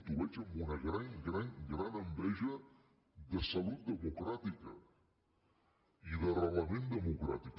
ho veig amb una gran gran gran enveja de salut democràtica i d’arrelament democràtic